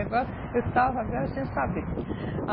agora, eu estava agora sem saber.